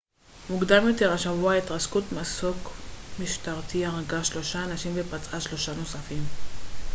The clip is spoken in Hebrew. מוקדם יותר השבוע התרסקות מסוק משטרתי הרגה שלושה אנשים ופצעה שלושה נוספים